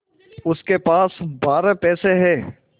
उसके पास बारह पैसे हैं